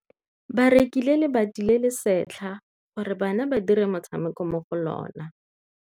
Ba rekile lebati le le setlha gore bana ba dire motshameko mo go lona.